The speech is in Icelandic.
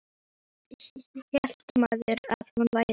Hvað hélt maðurinn að hún væri?